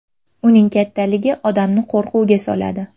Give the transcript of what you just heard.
Uning kattaligi odamni qo‘rquvga soladi.